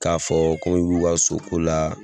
K'a fɔ kom'i b'u ka soko la